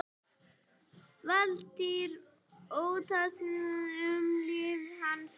Valtýr: Óttaðist um líf hans?